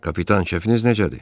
Kapitan, kefiniz necədir?